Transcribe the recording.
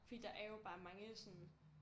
Fordi der er jo bare mange sådan